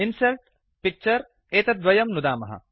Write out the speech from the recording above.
insert Picture एतद्वयं नुदामः